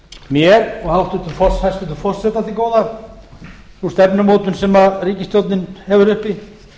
mér og hæstvirtan forseta til góða sú stefnumótun sem ríkisstjórnin hefur uppi